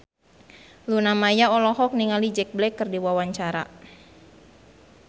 Luna Maya olohok ningali Jack Black keur diwawancara